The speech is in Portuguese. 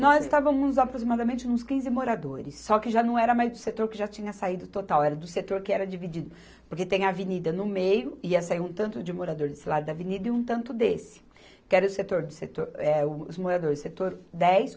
Nós estávamos aproximadamente nos quinze moradores, só que já não era mais do setor que já tinha saído total, era do setor que era dividido, porque tem avenida no meio, ia sair um tanto de morador desse lado da avenida e um tanto desse, que era o setor de setor, eh os moradores, setor dez